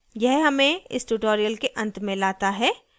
यह हमे इस tutorial के अंत में लाता है